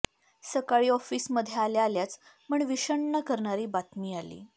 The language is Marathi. सकाळी ऑफीसमध्ये आल्या आल्याच मन विषण्ण करणारी बातमी आली